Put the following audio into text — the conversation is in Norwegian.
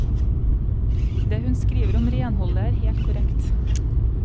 Det hun skriver om renholdet, er helt korrekt.